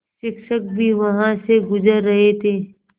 शिक्षक भी वहाँ से गुज़र रहे थे